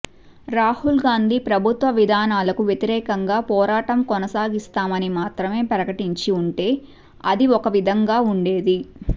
రాహుల్ గాంధీ ప్రభుత్వ విధా నాలకు వ్యతిరేకంగా పోరాటం కొనసాగిస్తామని మాత్రమే ప్రకటించి ఉంటే అది ఒక విధంగా ఉండేది